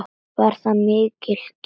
Það var mikil gæfa.